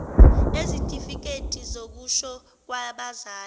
ezitifiketi zokushona kwabazali